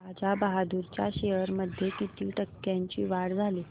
राजा बहादूर च्या शेअर्स मध्ये किती टक्क्यांची वाढ झाली